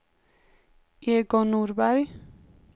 Egon Norberg